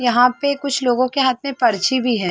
यहाँ पे कुछ लोगो के हाथ में पर्ची भी है।